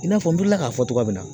I n'a fɔ n bɔra k'a fɔ cogoya min na